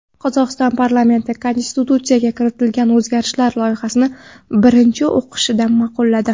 Qozog‘iston parlamenti konstitutsiyaga kiritiladigan o‘zgartirishlar loyihasini birinchi o‘qishda ma’qulladi.